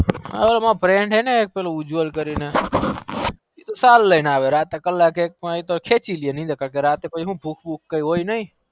હ માર friend ઉજવલ કરી ને સાલ લીન આવે ભૂખ ભૂખ કઈ હોય નઈ ને